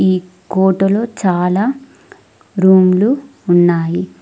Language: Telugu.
ఈ కోటలో చాలా రూమ్లు ఉన్నాయి.